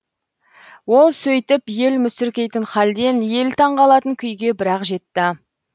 ол сөйтіп ел мүсіркейтін халден ел таңғалатын күйге бір ақ жетті